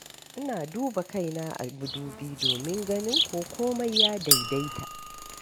Ina duba kaina a madubi domin ganin ko komai ya daidaita.